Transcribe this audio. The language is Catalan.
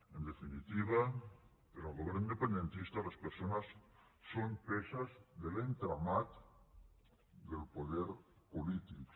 en definitiva per al govern independentista les persones són peces de l’entramat del poder polític